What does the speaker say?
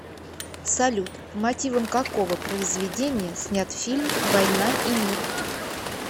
салют по мотивам какого произведения снят фильм воина и мир